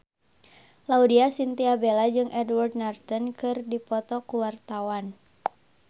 Laudya Chintya Bella jeung Edward Norton keur dipoto ku wartawan